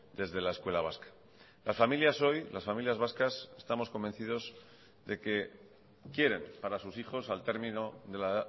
desde la escuela vasca las familias hoy las familias vascas estamos convencidos de que quieren para sus hijos al término de la